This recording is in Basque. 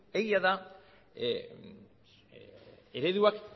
egia da ereduak